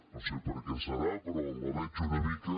no sé per què deu ser però la veig una mica